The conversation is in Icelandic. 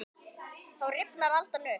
Þá rifnar aldan upp.